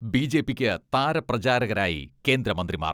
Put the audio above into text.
ബിജെപിയ്ക്ക് താരപ്രചാരകരായി കേന്ദ്ര മന്ത്രിമാർ.